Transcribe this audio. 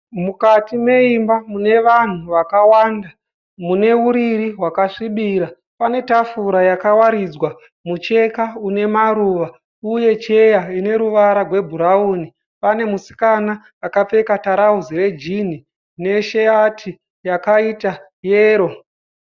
Mukati meimba mune vanhu vakawanda. Mune uriri hwakasvibira. Pane tafura yakawaridzwa mucheka une maruva uye cheya ine ruvara rwebhurawuni. Pane musikana akapfeka tirauzi rejini ne shati yakaita yero.